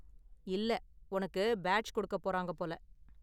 இல்ல, உனக்கு பேட்ஜ் கொடுக்க போறாங்க போல.